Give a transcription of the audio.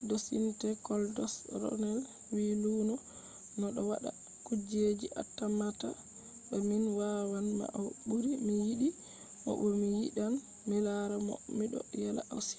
dostin goldost” ronels wi luno ɗo waɗa kujeji atammata ba min wawan ma o ɓuri mi yiɗi mo bo mi yiɗan milara mo miɗo yela o suiti